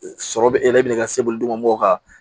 Sɔrɔ bɛ e yɛrɛ minɛ ka se boli mɔgɔw kan